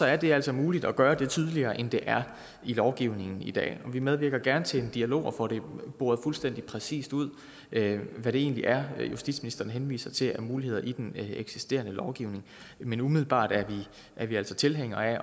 er det altså muligt at gøre det tydeligere end det er i lovgivningen i dag vi medvirker gerne til en dialog og får det boret fuldstændig præcist ud hvad det egentlig er justitsministeren henviser til af muligheder i den eksisterende lovgivning men umiddelbart er er vi altså tilhængere af at